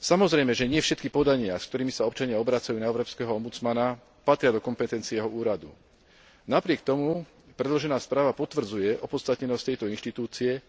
Samozrejme, že nie všetky podania, s ktorými sa občania obracajú na európskeho ombudsmana, patria do kompetencie jeho úradu. Napriek tomu predložená správa potvrdzuje opodstatnenosť tejto inštitúcie,